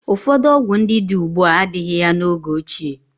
Ụfọdụ ọgwụ ndị dị ugbu a adịghị ya n'oge ochie.